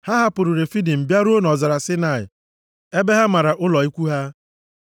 Ha hapụrụ Refidim bịaruo nʼọzara Saịnaị ebe ha mara ụlọ ikwu ha.